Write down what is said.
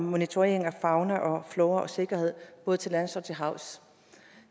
monitorering af fauna og flora og sikkerhed både til lands og til havs